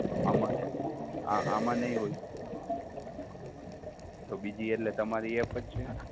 આમાં આમાં નહીં હોય તો બીજી એટલે તમારી app જ છે?